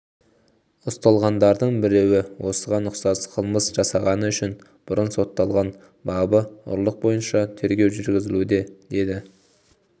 ұсталғандардың біреуі осыған ұқсас қылмыс жасағаны үшін бұрын сотталған бабы ұрлық бойынша тергеу жүргізілуде деді